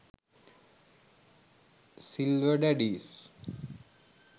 silver daddies